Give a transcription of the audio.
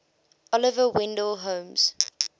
oliver wendell holmes